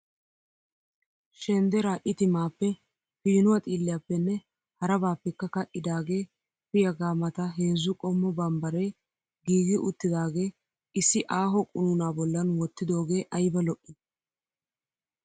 Shenderaa itimaappe, piinuwa xiilliyappenne harabaappekka ka'idaagee fiyaga mata heezzu qommo bambare giigi uttidaagee issi aaho qunuunaa bollan wottidooge ayba lo'ii.